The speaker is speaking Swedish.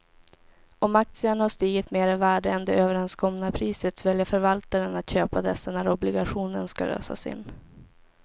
Om aktierna har stigit mer i värde än det överenskomna priset väljer förvaltaren att köpa dessa när obligationen ska lösas in.